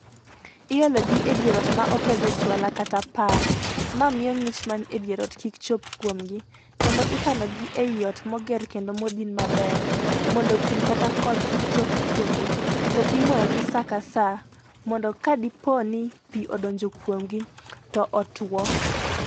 Iologi e dier ot ma opedhe jwala kata par ma miyo ng'ich mae dier ot kik chop kuomgi kendo ikanogi ei ot moger kendo modin maber, mondo pii kata koth kik chop kuomgi, to imoyogi saa ka saa mondo kadipoo ni pii odonjo kuomgi to otuo.